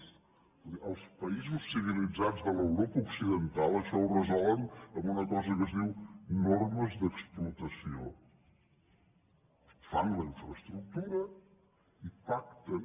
escolti els països civilitzats de l’europa occidental això ho resolen amb una cosa que es diu normes d’explotació fan la infraestructura i pacten